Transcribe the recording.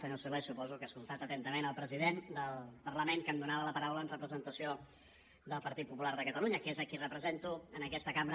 senyor solé suposo que ha escoltat atentament el president del parlament que em donava la paraula en representació del partit popular de catalunya que és a qui represento en aquesta cambra